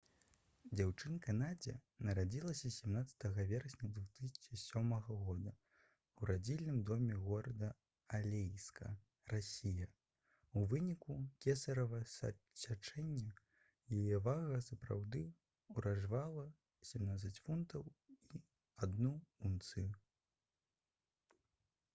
дзяўчынка надзя нарадзілася 17 верасня 2007 года ў радзільным доме горада алейска расія у выніку кесарава сячэння. яе вага сапраўды ўражвала — 17 фунтаў і 1 унцыя